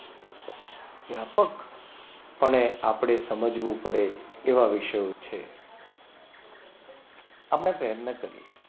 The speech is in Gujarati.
વ્યાપક પણે આપણે સમજવું પડે એવા વિષયો છે આપણે પ્રયત્ન કરીએ.